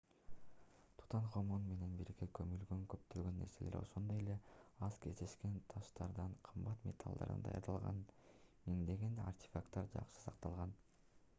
тутанхамон менен бирге көмүлгөн көптөгөн нерселер ошондой эле аз кездешкен таштардан кымбат металлдардан даярдалган миңдеген артефакттар жакшы сакталган